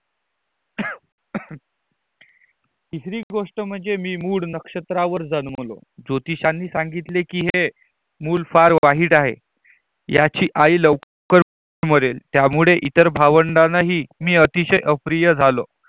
तीसरी गोष्टी म्हणजे मी मूड नक्षत्रा वर जन्मलो ज्योतिशाने सांगितले की हे मूल फार वाईट आहे. याची आई लवकर मरेल त्यामुळे इतर भावंडानाही मी अतिशय अप्रिय झालो